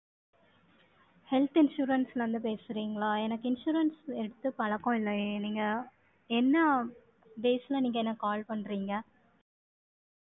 Health insurance ல இருந்து பேசுறீங்களா? எனக்கு insurance எடுத்து பழக்கம் இல்லையே. நீங்க, என்ன base ல நீங்க எனக்கு call பண்றீங்க